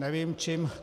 Nevím čím.